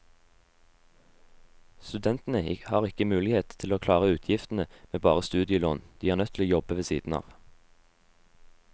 Studentene har ikke mulighet til å klare utgiftene med bare studielån, de er nødt til å jobbe ved siden av.